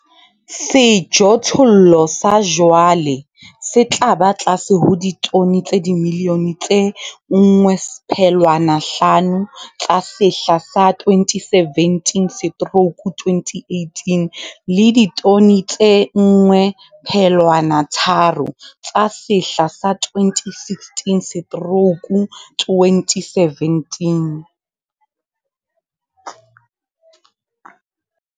Sejothollo sa jwale se tla ba tlase ho ditone tsa dimilione tse 1, 5 tsa sehla sa 2017-2018 le ditone tse 1, 3 tsa sehla sa 2016-2017.